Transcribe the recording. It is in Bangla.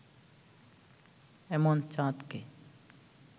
এমন চাঁদকে